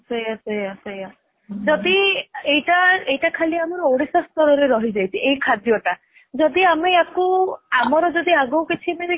ସେଇଆ ସେଇଆ ସେଇଆ ଯଦି ଏଇଟା ଏଇଟା ଖାଲି ଆମର ଓଡିଶା ସ୍ଥଳ ରେ ରହିଯାଇଛି ଏଇ ଖାଦ୍ଯ ଟା ଯଦି ଆମେ ୟାକୁ ଆମର ଯଦି ଆଗକୁ କିଛି ମାନେ